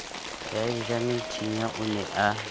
ya ejamethinya o ne a